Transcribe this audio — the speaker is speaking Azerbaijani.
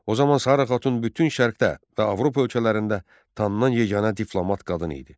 O zaman Sara xatun bütün şərqdə və Avropa ölkələrində tanınan yeganə diplomat qadın idi.